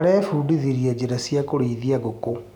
Arebundithirie njĩra cia kũrĩithia ngũkũ.